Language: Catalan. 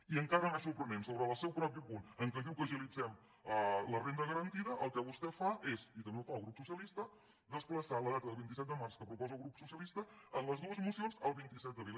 i encara més sorprenent sobre el seu propi punt en què diu que agilitzem la renda garantida el que vostè fa és i també ho fa el grup socialista desplaçar la data del vint set de març que proposa el grup socialista en les dues mocions al vint set d’abril